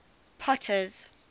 potter's